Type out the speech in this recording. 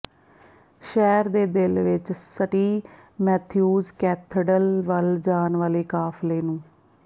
ਸ਼ਹਿਰ ਦੇ ਦਿਲ ਵਿਚ ਸਟੀ ਮੈਥਿਊਜ਼ ਕੈਥੇਡ੍ਰਲ ਵੱਲ ਜਾਣ ਵਾਲੇ ਕਾਫ਼ਲੇ ਨੂੰ